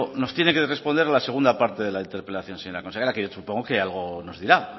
nos tiene que responder a la segunda parte de la interpelación señora consejera que supongo que algo nos dirá